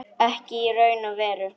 Ekki í raun og veru.